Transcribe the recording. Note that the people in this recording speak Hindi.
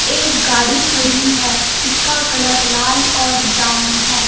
एक गाड़ी खड़ी है जिसका कलर लाल और ब्राउन है.